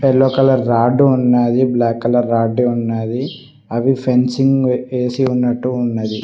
Yellow colour rod ఉన్నది black colour rod ఉన్నది అవి ఫెన్సింగ్ వేసి ఉన్నట్టు ఉన్నది.